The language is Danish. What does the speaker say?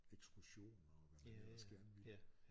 Ekskursioner og hvad man ellers gerne ville